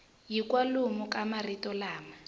hi kwalomu ka marito lama